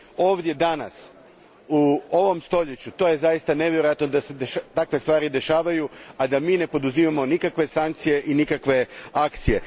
Ovdje, danas, u ovom stoljeću, to je zaista nevjerojatno da se takve stvari dešavaju, a da mi ne poduzimamo nikakve sankcije i nikakve akcije.